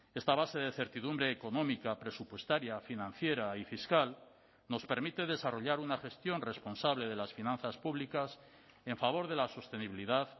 esta base de certidumbre económica presupuestaria financiera y fiscal nos permite desarrollar una gestión responsable de las finanzas públicas en favor de la sostenibilidad